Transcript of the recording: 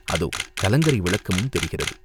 அதோ கலங்கரை விளக்கமும் தெரிகிறது.